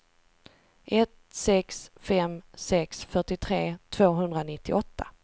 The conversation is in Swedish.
ett sex fem sex fyrtiotre tvåhundranittioåtta